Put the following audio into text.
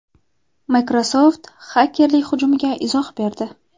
Microsoft xakerlik hujumiga izoh berdi.